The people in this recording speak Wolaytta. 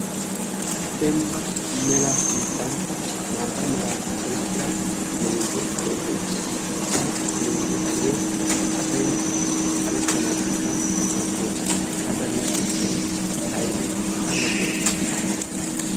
dembba mela biittan maata meraa oyqqira meezze xalee beettees ha meeze xalee asay xalettanaassikka maaddees ha xaliya sunttay aybee ane yoota?